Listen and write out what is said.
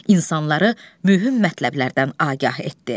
İnsanları mühüm mətləblərdən agah etdi.